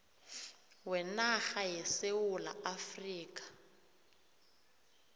wenarha yesewula afrika